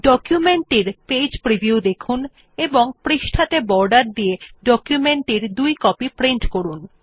document টির page preview দেখুন এবং পৃষ্ঠাত়ে বর্ডার দিয়ে ডকুমেন্ট টি দুই কপি প্রিন্ট করুন